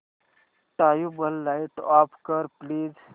tubelight off कर please